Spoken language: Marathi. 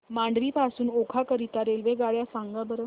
मांडवी पासून ओखा करीता रेल्वेगाड्या सांगा बरं